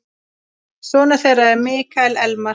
Sonur þeirra er Mikael Elmar.